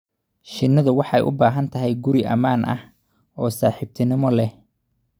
Shinnidu waxay u baahan tahay guri ammaan ah oo saaxiibtinimo leh.